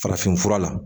Farafinfura la